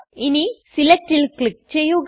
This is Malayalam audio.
ഇനി സെലക്ട്ൽ ക്ലിക് ചെയ്യുക